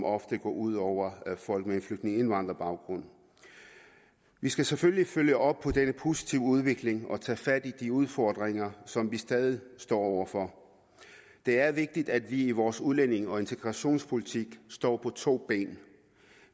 ofte går ud over folk med flygtninge eller indvandrerbaggrund vi skal selvfølgelig følge op på denne positive udvikling og tage fat i de udfordringer som vi stadig står over for det er vigtigt at vi i vores udlændinge og integrationspolitik står på to ben